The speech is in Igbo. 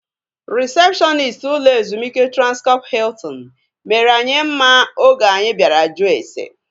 Rịsepshọnist ụlọ ezumike Transkọp Hiltin mere anyị mma oge anyi bịara jụọ ase